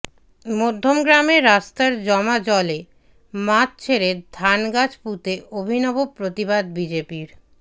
মধ্যমগ্রামে রাস্তার জমা জলে মাছ ছেড়ে ধানগাছ পুঁতে অভিনব প্রতিবাদ বিজেপির